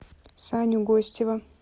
саню гостева